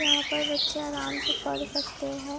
यहां पर बच्चे आराम से पढ़ सकते है ।